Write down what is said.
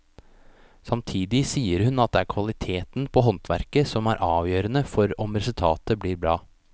Samtidig sier hun at det er kvaliteten på håndverket som er avgjørende for om resultatet blir bra.